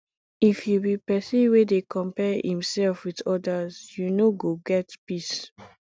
if you be pesin wey dey compare imself with odas you no go get peace